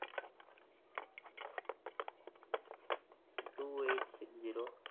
two eight six zero